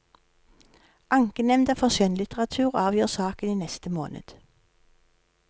Ankenemnda for skjønnlitteratur avgjør saken i neste måned.